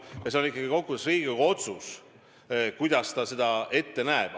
Ja see on ikkagi kokkuvõttes Riigikogu otsus, kuidas ta seda õigeks peab.